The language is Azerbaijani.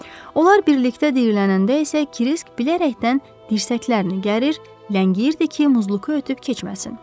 Onlar birlikdə diyirlənəndə isə Kirisk bilərəkdən dirsəklərini gərir, ləngiyirdi ki, Muzluku ötüb keçməsin.